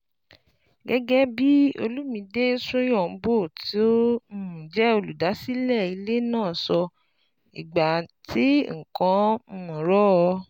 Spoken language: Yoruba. Gẹ́gẹ́ bí Olumide Soyombo, tó um jẹ́ olùdásílẹ̀ ilé náà ṣe sọ, "ìgbà tí nǹkan ń um rọ̀